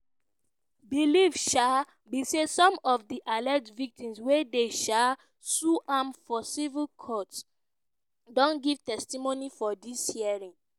belief um be say some of di alleged victims wey dey um sue am for civil courts don give testimony for dis hearings.